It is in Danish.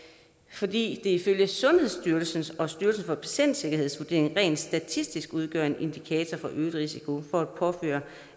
fordi det ifølge sundhedsstyrelsens og styrelsen for patientsikkerheds vurderinger rent statistisk udgør en indikator for øget risiko for at påføre